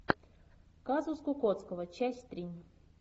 казус кукоцкого часть три